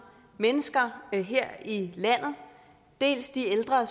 mennesker her i landet dels de ældre